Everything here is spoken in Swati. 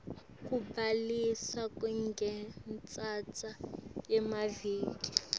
kubhaliswa kungatsatsa emaviki